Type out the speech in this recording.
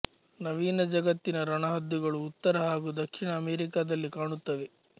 ನವೀನ ಜಗತ್ತಿನ ರಣಹದ್ದುಗಳು ಉತ್ತರ ಹಾಗು ದಕ್ಷಿಣ ಅಮೇರಿಕಾದಲ್ಲಿ ಕಾಣುತ್ತವೆ